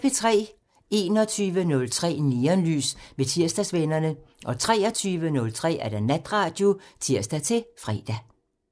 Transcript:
21:03: Neonlys med Tirsdagsvennerne (tir) 23:03: Natradio (tir-fre)